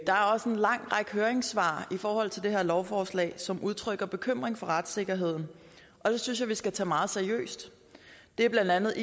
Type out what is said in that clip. er også en lang række høringssvar i forhold til det her lovforslag som udtrykker bekymring for retssikkerheden og det synes jeg vi skal tage meget seriøst det er blandt andet